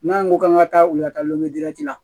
N'an ko k'an ka taa u ka taa lidirati la